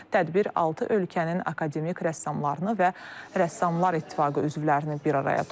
Tədbir altı ölkənin akademik rəssamlarını və rəssamlar İttifaqı üzvlərini bir araya toplayıb.